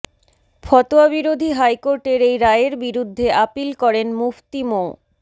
ফতোয়াবিরোধী হাইকোর্টের এই রায়ের বিরুদ্ধে আপিল করেন মুফতি মো